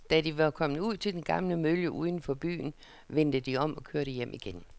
Da de var kommet ud til den gamle mølle uden for byen, vendte de om og kørte hjem igen.